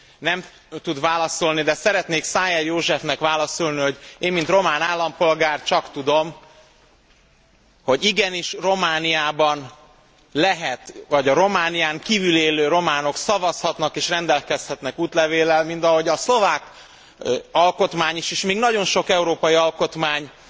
Nem tud válaszolni, de szeretnék Szájer Józsefnek válaszolni, hogy én, mint román állampolgár, csak tudom, hogy igenis, a Románián kívül álló románok is szavazhatnak és rendelkezhetnek útlevéllel, mint ahogy a szlovák alkotmány is, és még nagyon sok európai alkotmány